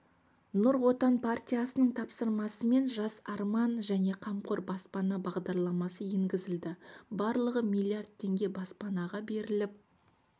нұр отан партиясының тапсырмасымен жас арман және қамқор баспана бағдарламасы енгізілді барлығы миллиард теңге баспанаға беріліп